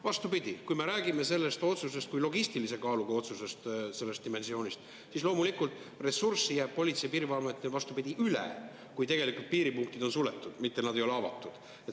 Vastupidi, kui me räägime sellest otsusest kui logistilise kaaluga otsusest, sellest dimensioonist, siis loomulikult jääb Politsei‑ ja Piirivalveametil ressurssi üle, kui piiripunktid on suletud, mitte nad ei ole avatud.